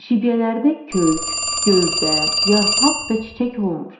Şibyələrdə kök, gövdə, yarpaq və çiçək olmur.